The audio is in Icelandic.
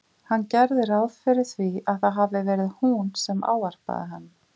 Hann gerði ráð fyrir því að það hafi verið hún sem ávarpaði hann.